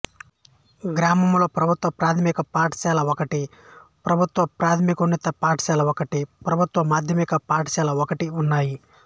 గ్రామంలో ప్రభుత్వ ప్రాథమిక పాఠశాల ఒకటి ప్రభుత్వ ప్రాథమికోన్నత పాఠశాల ఒకటి ప్రభుత్వ మాధ్యమిక పాఠశాలఒకటిఉన్నాయి